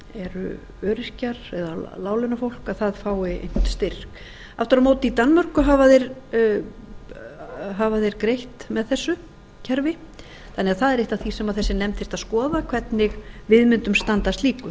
eru öryrkjar eða láglaunafólk að það fái einhvern styrk aftur á móti í danmörku hafa þeir greitt með þessu kerfi þannig að það er eitt af því sem þessi nefnd þyrfti að skoða hvernig við mundum standa